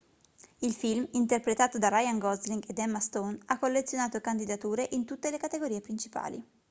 il film interpretato da ryan gosling ed emma stone ha collezionato candidature in tutte le categorie principali